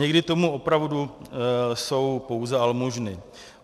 Někdy to opravdu jsou pouze almužny.